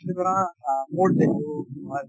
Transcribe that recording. কিন্তু ধৰা